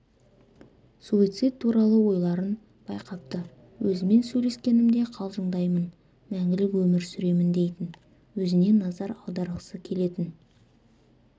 суицид туралы ойларын байқапты өзімен сөйлескенімде қалжыңдаймын мәңгілік өмір сүремін дейтін өзіне назар аударғысы келетін